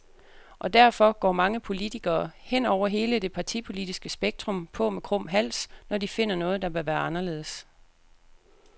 Og derfor går mange politikere, hen over hele det partipolitiske spektrum, på med krum hals, når de finder noget, der bør være anderledes.